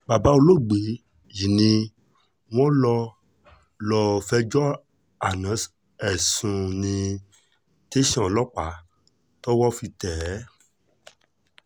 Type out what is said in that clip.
bàbá olóògbé yìí ni wọ́n lọ lọ́ọ́ fẹjọ́ àna ẹ̀ sùn ní tẹ̀sán ọlọ́pàá tọ́wọ́ fi tẹ̀ ẹ́